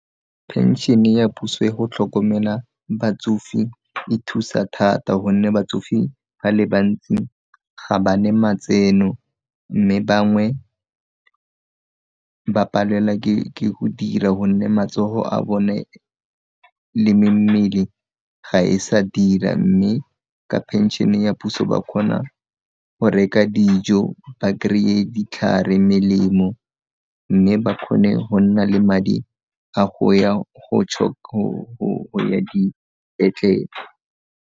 Phenšene ya puso ya go tlhokomela batsofe e thusa thata gonne batsofe ba le bantsi ga ba ne matseno mme bangwe ba palela ke go dira gonne matsogo a bone le mmele ga e sa dira mme ka pension-e ya puso ba kgona go reka dijo ba kry-e ditlhare, melemo mme ba kgone go nna le madi a go ya go ya dipetlele.